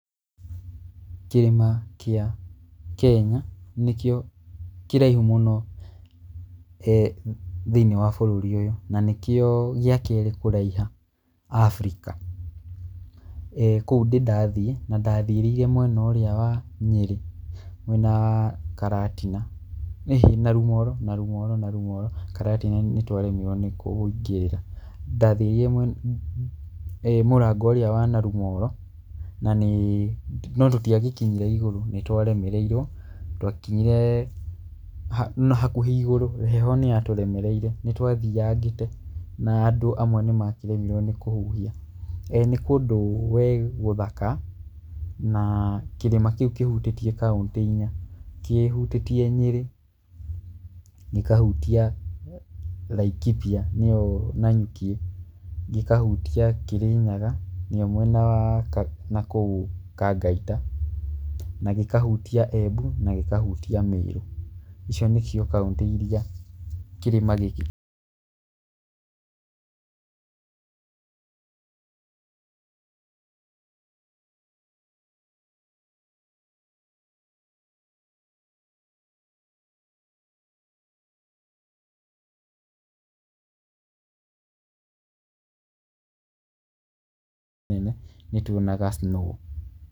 Kĩrĩma kĩa Kenya nĩkĩo kĩraihũ mũno he thĩinĩ wa bũrũri ũyũ nanĩkĩo gĩakerĩ kũraiha Africa. Kũu ndĩ ndathiĩ na ndathiĩrĩire mwena ũrĩa wa Nyeri, mwena wa Karatina. Ĩhĩ, Narumoru, Narumoru, Karatina nĩtwaremirũo nĩ kũingĩrĩra. Ndathiĩrĩire mwena mũrango ũrĩa wa Narumoru na nĩĩ, no tũtiagĩkinyire igũrũ, nĩtwaremereirũo, twakinyire ha, nahakũhĩ igũrũ, heho nĩyatũremereire, nĩtwathiangĩte na tũ. Amwe nĩmakĩremirũo nĩ kũhũhia. Na nĩ kũndũ we gũthaka, na kĩrĩma kĩũ kĩhũtĩtie kaũntĩ inya . Kĩhũtĩtie Nyeri, gĩkahũtia Laikipia, nĩyo Nanyuki, gĩkahũtia Kirinyaga nĩyo mwena wa nakũũ Kangaita na gĩkahũtia Embu na gĩkahũtia Meru. Icio nĩcio kaũntĩ irĩa kĩrĩma gĩkĩ. Nene nĩtũonaga snow.